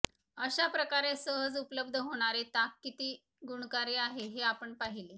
अशा प्रकारे सहज ऊपलब्ध होणारे ताक किती गुणकारी आहे हे आपण पाहीले